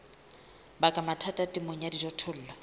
baka mathata temong ya dijothollo